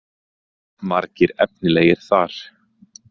Margir efnilegir þar.